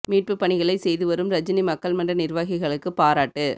மீட்புப் பணிகளை செய்து வரும் ரஜினி மக்கள் மன்ற நிர்வாகிகளுக்கு பாராட்டு